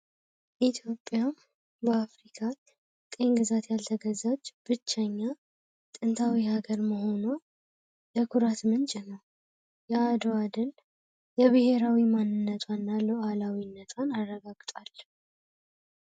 ኢትዮጵያ በአፍሪካ ቀኝ ግዛት ያልተገዛች ብቸኛዋ ጥንታዊ ሀገር መሆኗ ለኩራት ምንጭ ነው የአድዋ ድል የብሔራዊ ማንነቷና ልኡላዊነቷን ያረጋግጣል።